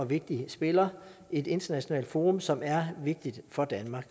vigtig spiller et internationalt forum som er vigtigt for danmark